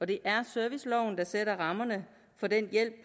det er serviceloven der sætter rammerne